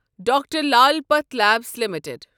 doctor Lal pathlabs limited